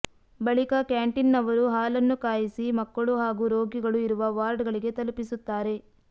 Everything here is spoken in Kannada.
ಬಳಿಕ ಕ್ಯಾಂಟೀನ್ನವರು ಹಾಲನ್ನು ಕಾಯಿಸಿ ಮಕ್ಕಳು ಹಾಗೂ ರೋಗಿಗಳು ಇರುವ ವಾರ್ಡ್ಗಳಿಗೆ ತಲುಪಿಸುತ್ತಾರೆ